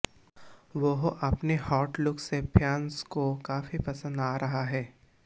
वह अपने hot look से फैंस को काफी पसंद आ रहा है